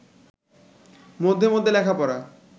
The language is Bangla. মধ্যে মধ্যে লেখাপড়া